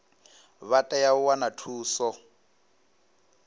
vha tea u wana thuso